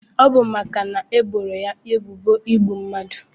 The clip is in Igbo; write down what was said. Ọbu maka na ebo ya ebubo igbu mmadu.